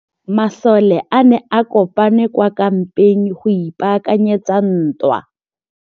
Masole a ne a kopane kwa kampeng go ipaakanyetsa ntwa.